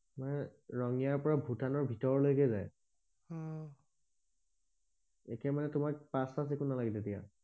মানে ৰঙিয়াৰ পৰা ভূটানৰ ভিতৰ লৈকে যায় অহ এতিয়া মানে তোমাৰ পাচ চাচ একো নালাগে তেতিয়া